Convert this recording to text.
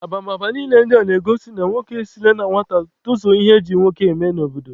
Abamaba niile ndị a na-ego na nwoke esila na nwata tozuo ihe e ji nwoke eme n'obodo.